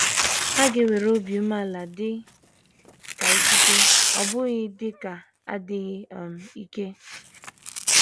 Ha ga - ewere obi umeala dị ka ikike, ọ bụghị dị ka adịghị um ike.